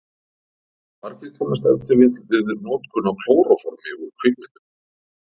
Margir kannast ef til vill við notkun á klóróformi úr kvikmyndum.